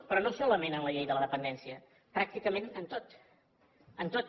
però no solament amb la llei de la dependència pràcticament amb tot amb tot